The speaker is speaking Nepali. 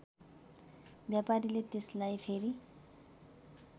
व्यापारीले त्यसलाई फेरि